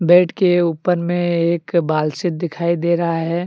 Bed के ऊपर में एक बालसित दिखाई दे रहा है।